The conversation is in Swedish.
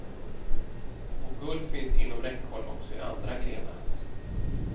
Och guld finns inom räckhåll också i andra grenar.